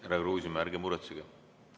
Härra Kruusimäe, ärge muretsege!